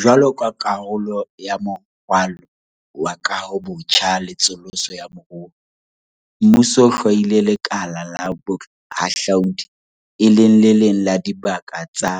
Jwaloka karolo ya Moralo wa Kahobotjha le Tsosoloso ya Moruo, mmuso o hlwaile lekala la bohahlaudi e le le leng la dibaka tsa